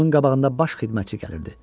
Onun qabağında baş xidmətçi gəlirdi.